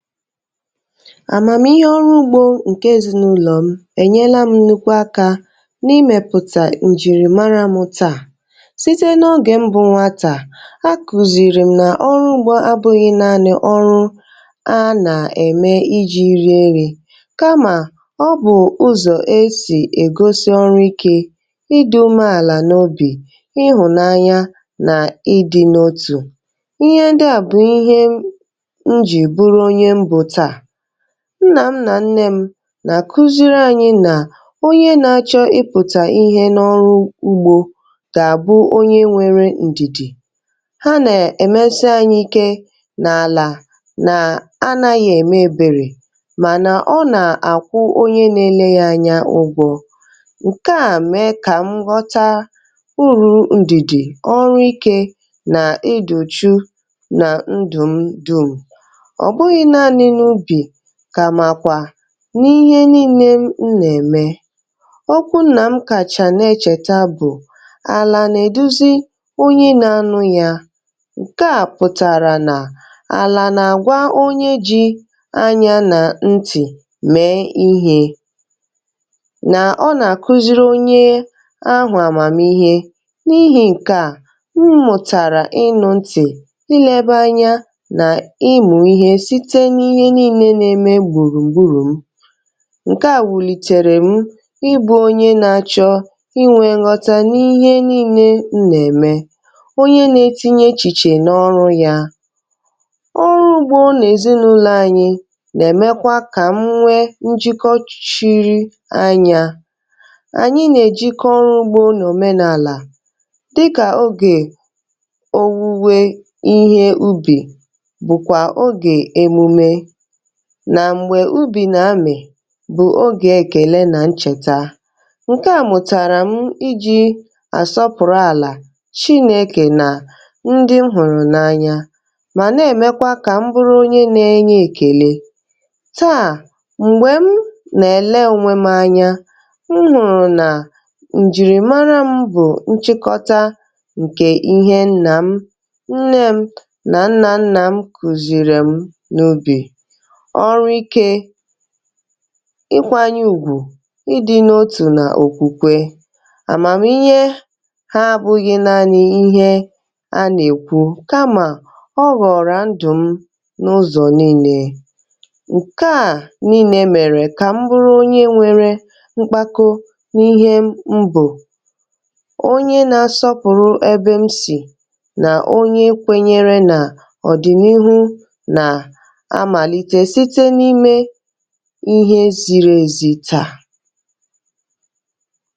Amamihe ọrụ ugbo nke ezinụlọ m enyela m nnukwu aka n'imepụta njirimara mụ ta. Site n'oge m bụ nwata a kụziiri na ọrụ ugbo abụghị naanị ọrụ a na-eme iji rie nei kama ọ bụ ụzọ e si egosi ịdị umeala n'obi, ịhụnanya na ịdị n'otu. Ihe ndị a bụ ihe m m jiri bụrụ onye m bụ taa. Nna m na nne m na-akụziri anyị na onye na-achọ ịpụta ihe n'ọrụ ugbo ga-abụ onye nwere ndidi. Ha na emesị, anyị ike n'ala na anaghị eme ebere mana ọ na-akwụ onye na-ele ya anya ụgwọ. Nke a mee ka m ghọta uru ndidi, ọrụ ike na ịdị úchú na ndụ m dum. Ọ bụghị naanị n'ubi kama kwa n'ihe niile m na-eme. Okwu nna m m kacha na-echeta bụ "Ala na-eduzi onye na-anụ ya." Nke a pụtara na ala na-agwa onye ji anya na ntị mee ihe na ọ na-akụziri onye ahụ amamihe. N'ihi nke a, m mụtara ịnụ ntị, ilebe anya na ịmụ ihe site n'ihe niile na-eme gburugburu m. Nke a wulitere m ịbụ onye na-achọ inwe nghọta n'ihe niile m na-eme. Onye na-etinye echiche n'ọrụ ya. Ọrụ ugbo n'ezinụlọ anyị nagemekwa ka m nwee njikọ ch chiri anya. Anyị na-ejiko ọrụ ugbo n'omenala dịka oge owuwe ihe ubi bụkwa oge emume na mgbe ubi na-amị bụ oge ekele na ncheta. Nke a mụtara m iji asọpụrụ ala, Chineke na ndị m hụrụ n'anya ma na-emekwa ka m bụrụ onye na-enye ekele. Taa mgbe m nagele onwe m anya, m hụrụ na njirimara m bụ nchịkọta nke ihe nna m, nne m na nna nna m kụziiri m n'ubi ọrụ ike, ịkwanye ùgwù, ịdị n'otu na okwukwe. Amamihe ha abụghị naanị ihe a na-ekwu kama ọ ghọrọ na ndụ m n'ụzọ niile. Nke a niile mere ka m bụrụ onye nwere mkpako n'ihe m bụ, onye na-asọpụrụ ebe m si na onye kwenyere na ọdịnihu na-amalite site n'ime ihe ziri ezi taa.